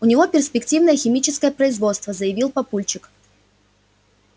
у него перспективное химическое производство заявил папульчик